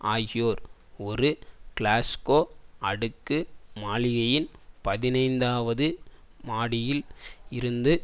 ஆகியோர் ஒரு கிளாஸ்கோ அடுக்கு மாளிகையின் பதினைந்தாவது மாடியில் இருந்து